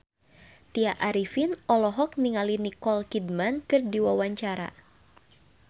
Tya Arifin olohok ningali Nicole Kidman keur diwawancara